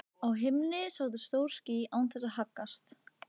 Á himni sátu stór ský án þess að haggast.